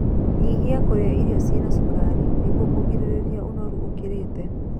Nyihia kurĩa irio ciĩna cukari nĩguo kũgirĩrĩrĩa unoru ukiritie